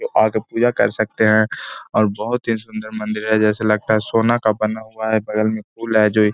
आके पूजा कर सकते हैं और बहोत ही सुन्दर मन्दिर है जैसे लगता है सोना का बना हुआ है। बगल में पुल है जो एक --.